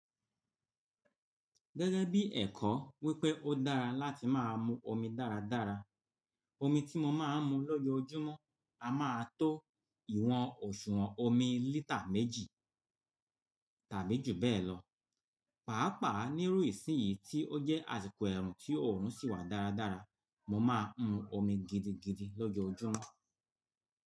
Gẹ́gẹ́ bí ẹ̀kọ́ wípé ó dára láti má a mu omi dáradára, omi tí mo máa ń mu lọ́jọ́ ọjọ́mú a má a tó ìwọ̀n òṣùwọ̀n omi lítà méjì tàbí jù bẹ́ẹ̀ lọ. Pàápàá nírú ìsìn yìí tí ó jẹ́ àsìkò ẹ̀rùn tí ọ̀run sì wà dáradára, mo máa ń mu omi gidigidi lọ́jọ́ ọjọ́mú.